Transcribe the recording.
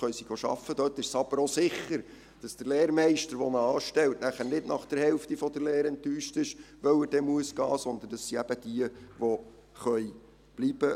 Dort ist es jedoch auch sicher, dass der Lehrmeister, der sie anstellt, nicht nach der Hälfte der Lehre enttäuscht ist, weil der Lehrling gehen muss, sondern es sind jene, die bleiben können.